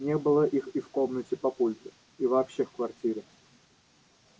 не было их и в комнате папульки и вообще в квартире